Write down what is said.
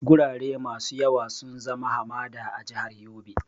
Gurare masu yawa sun zama hamada a jihar Yobe.